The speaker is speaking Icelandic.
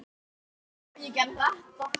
Margrét Thelma.